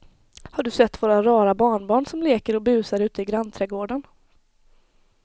Har du sett våra rara barnbarn som leker och busar ute i grannträdgården!